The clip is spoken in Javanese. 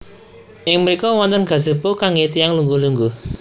Ing mriko wonten gazebo kangge tiyang lungguh lungguh